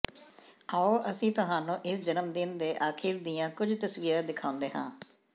ਆਓ ਅਸੀਂ ਤੁਹਾਨੂੰ ਇਸ ਜਨਮਦਿਨ ਦੇ ਅਖੀਰ ਦੀਆਂ ਕੁਝ ਤਸਵੀਰਾਂ ਦਿਖਾਉਂਦੇ ਹਾਂ